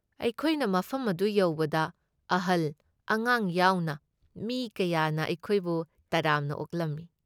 ꯑꯩꯈꯣꯏꯅ ꯃꯐꯝ ꯑꯗꯨ ꯌꯧꯕꯗ ꯑꯍꯜ ꯑꯉꯥꯡ ꯌꯥꯎꯅ ꯃꯤ ꯀꯌꯥꯅ ꯑꯩꯈꯣꯏꯕꯨ ꯇꯔꯥꯝꯅ ꯑꯣꯛꯂꯝꯏ ꯫